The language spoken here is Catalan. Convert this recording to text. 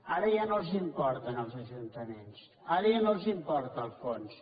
ara ja no els importen els ajuntaments ara ja no els importa el fons